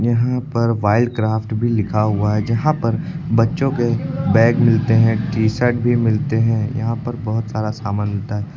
यहां पर वाइल्डक्राफ्ट भी लिखा हुआ है जहां पर बच्चों के बैग मिलते हैं टी शर्ट भी मिलते हैं यहां पर बहोत सारा सामान मिलता है।